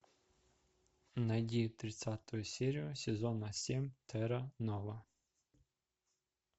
найди тридцатую серию сезона семь терра нова